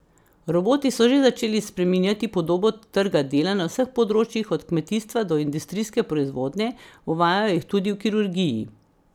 Roboti so že začeli spreminjati podobo trga dela na vseh področjih od kmetijstva do industrijske proizvodnje, uvajajo jih tudi v kirurgiji.